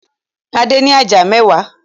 Adé ní ajá mẹ́wàá.